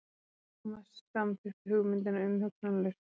Thomas samþykkti hugmyndina umhugsunarlaust.